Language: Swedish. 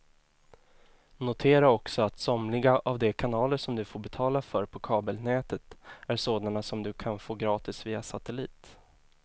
Notera också att somliga av de kanaler som du får betala för på kabelnätet är sådana som du kan få gratis via satellit.